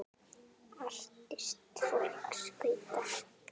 Artist fólks Hvíta.